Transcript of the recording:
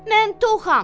Mən toxam.